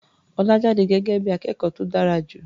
Ọlá jáde gẹ́gẹ́ bí i akẹ́kọ̀ó tó dára jù.